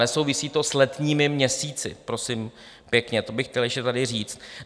Nesouvisí to s letními měsíci, prosím pěkně, to bych chtěl ještě tady říct.